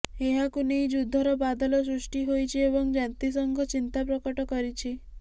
ଏହାକୁ ନେଇ ଯୁଦ୍ଧର ବାଦଲ ସୃଷ୍ଟି ହୋଇଛି ଏବଂ ଜାତିସଂଘ ଚିନ୍ତା ପ୍ରକଟ କରିଛି